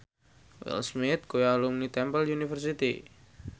Will Smith kuwi alumni Temple University